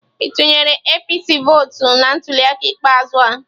Ị tụnyere APC vọọtụ na ntuliaka ikpeazụ a?